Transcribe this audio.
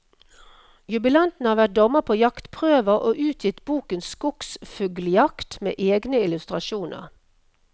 Jubilanten har vært dommer på jaktprøver og utgitt boken skogsfugljakt med egne illustrasjoner.